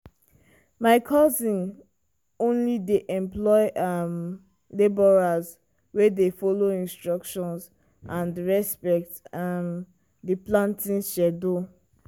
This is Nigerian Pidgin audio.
my cousin only dey employ um labourers wey dey follow instructions and respect um di planting schedule.